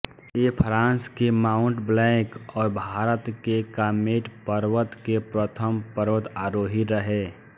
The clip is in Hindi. ये फ्रांस के माउंट ब्लैंक और भारत के कामेट पर्वतके प्रथम पर्वतारोही रहे